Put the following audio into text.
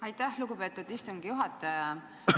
Aitäh, lugupeetud istungi juhataja!